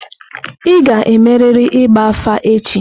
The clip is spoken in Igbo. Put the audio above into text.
Ị ga-emerịrị ịgba afa echi!